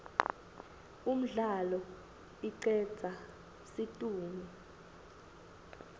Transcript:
umdlalo icedza situnge